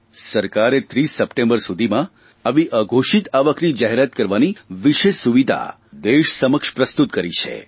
સરકારે 30 સપ્ટેમ્બર સુધીમાં આવી અઘોષિત આવકની જાહેરાત કરવાની વિશેષ સુવિધા દેશ સમક્ષ પ્રસ્તુત કરી છે